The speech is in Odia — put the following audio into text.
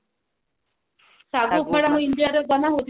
ସାଗୁ ଉପମା ତ India ରେ ବନା ହଉଛି